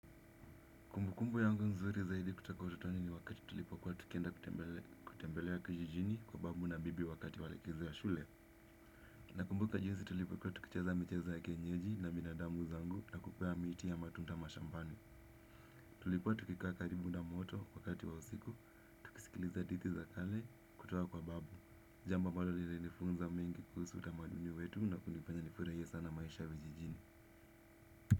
Kumbukumbu yangu nzuri zaidi kutoka utotoni ni wakati tulipo kuwa tukienda kutembelea kijijini kwa babu na bibi wakati walikizo ya shule. Nakumbuka jinsi tulipo kuwa tukicheza michezo ya kienyeji na binadamu zangu na kukwea miti ya matunda mashambani. Tulikuwa tukikaa karibu na moto wakati wa usiku, tukisikiliza hadithi za kale kutoka kwa babu. Jambo ambalo lili nifunza mengi kuhusu utamaduni wetu na kunifanya nifurahie sana maisha vijijini.